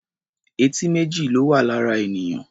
Etí méjì ló wà lára ènìyàn.